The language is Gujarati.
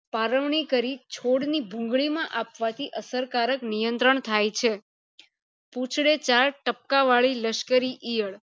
પરવની કરી છોડ ની ભૂંગળી માં આપવાથી અસર કારક નિયંત્રણ થાય છે પુચ્ડે ચાર ટપકા વાળી લશ્કરી ઈયળ